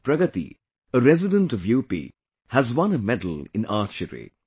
Pragati, a resident of UP, has won a medal in Archery